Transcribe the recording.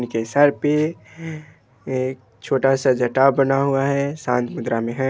उनके सर पे एक छोटा सा जटा बना हुआ है शांत मुद्रा में है।